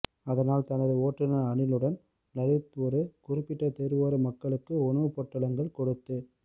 அதனால் தனது ஓட்டுநர் அனிலுடன் லலித் ஒரு குறிப்பிட்ட தெருவோர மக்களுக்கு உணவு பொட்டலங்கள் கொடுத்துக்